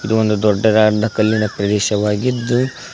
ಇದು ಒಂದು ದೊಡ್ಡದಾದಂತ ಕಲ್ಲಿನ ಪ್ರದೇಶವಾಗಿದ್ದು--